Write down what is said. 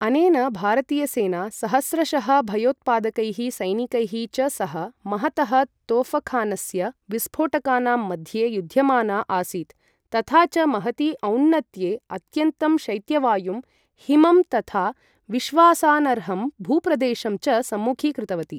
अनेन भारतीयसेना सहस्रशः भयोत्पादकैः सैनिकैः च सह, महतः तोफखानस्य विस्फोटकानां मध्ये युध्यमाना आसीत् तथा च महति औन्नत्ये अत्यन्तं शैत्यवायुं, हिमं तथा विश्वासानर्हं भूप्रदेशं च सम्मुखीकृतवती।